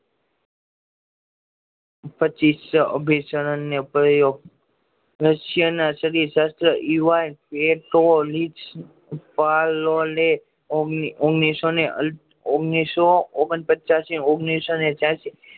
રસિયા ના બધા શાત્રો ઓગની સો ઓગણ પચાસ